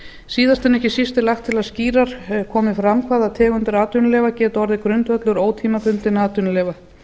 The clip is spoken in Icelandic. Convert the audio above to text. síðast en ekki síst er lagt til að skýrar komi fram hvaða tegundir atvinnuleyfa geta orðið grundvöllur ótímabundinna atvinnuleyfa